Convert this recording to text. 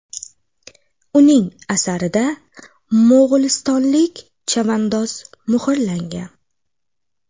Uning asarida mo‘g‘ulistonlik chavandoz muhrlangan.